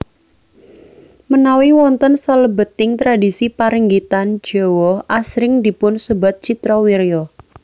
Menawi wonten salebeting tradhisi paringgitan Jawa asring dipun sebat Citrawirya